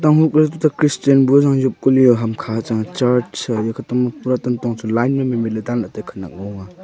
christian bu e rang jop kali ah ham kha cha church kantong chu pura line mai mai dan la taiya khanyak ngo ang ah.